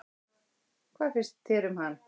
Hvað finnst þér um hann?